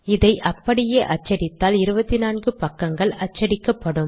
இதை அப்படியே அச்சடித்தால் 24 பக்கங்கள் அச்சடிக்கப்படும்